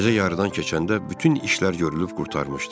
Gecə yarıdan keçəndə bütün işlər görülüb qurtarmışdı.